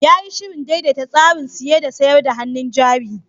Ya yi shirin daidaita tsarin saye da sayar da hannun jari.